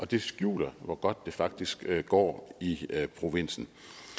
det skjuler hvor godt det faktisk går i provinsen